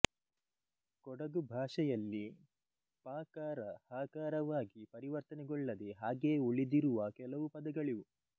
ಕೊಡಗು ಭಾಷೆಯಲ್ಲಿ ಪಕಾರ ಹಕಾರವಾಗಿ ಪರಿವರ್ತನೆಗೊಳ್ಳದೆ ಹಾಗೆಯೇ ಉಳಿದಿರುವ ಕೆಲವು ಪದಗಳಿವು